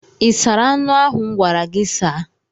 Ị sara anụ ahụ m gwara gị saa?